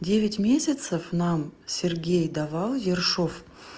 девять месяцев нам сергей давал ершов